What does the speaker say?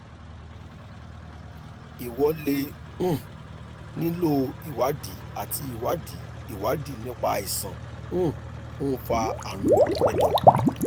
ìwọ lè um nílò ìwádìí àti ìwádìí ìwádìí nípa àìsàn um tó ń fa àrùn ẹ̀dọ̀